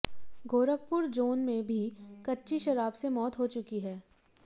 Gorakhpur zone में भी कच्ची शराब से मौत हो चुकी है